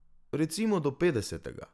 Recimo do petdesetega.